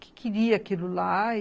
que queria aquilo lá.